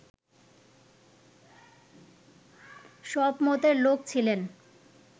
সব মতের লোক ছিলেন